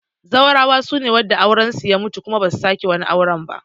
Zaurawa sune wadanda auren su ya mutu kuma ba su sake wani auren ba